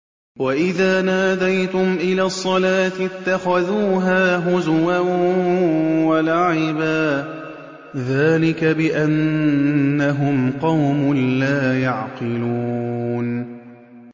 وَإِذَا نَادَيْتُمْ إِلَى الصَّلَاةِ اتَّخَذُوهَا هُزُوًا وَلَعِبًا ۚ ذَٰلِكَ بِأَنَّهُمْ قَوْمٌ لَّا يَعْقِلُونَ